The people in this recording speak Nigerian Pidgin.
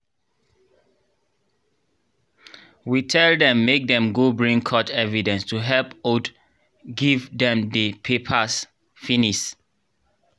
we tell dem make dem go bring court evidence to helep ud give dem dey papars finis